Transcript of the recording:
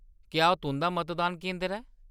क्या ओह्‌‌ तुंʼदा मतदान केंदर ऐ ?